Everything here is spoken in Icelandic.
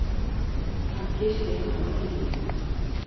Hann kyssti hana á kinnina.